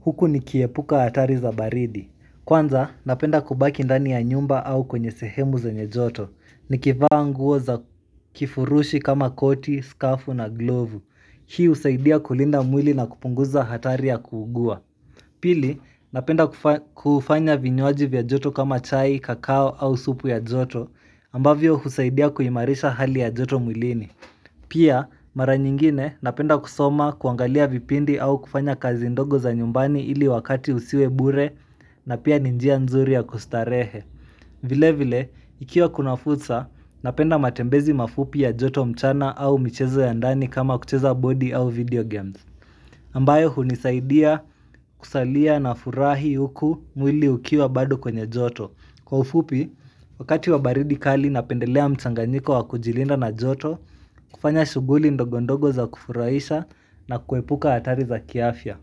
Huku nikiepuka hatari za baridi. Kwanza, napenda kubaki ndani ya nyumba au kwenye sehemu zenye joto. Nikivaa nguo za kifurushi kama koti, skafu na glovu. Hii husaidia kulinda mwili na kupunguza hatari ya kuugua. Pili, napenda kufanya vinywaji vya joto kama chai, kakao au supu ya joto, ambavyo husaidia kuimarisha hali ya joto mwilini. Pia mara nyingine napenda kusoma kuangalia vipindi au kufanya kazi ndogo za nyumbani ili wakati usiwe bure na pia ni njia nzuri ya kustarehe vile vile ikiwa kuna fursa napenda matembezi mafupi ya joto mchana au michezo ya ndani kama kucheza body au video games ambayo hunisaidia kusalia na furahi huku mwili ukiwa bado kwenye joto Kwa ufupi, wakati wa baridi kali napendelea mchanganyiko wa kujilinda na joto, kufanya shughuli ndogondogo za kufurahisha na kuepuka hatari za kiafya.